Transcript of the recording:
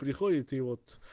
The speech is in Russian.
приходит и вот